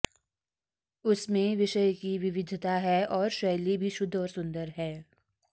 उसमें विषय की विविधता है और शैली भी शुद्ध और सुंदर है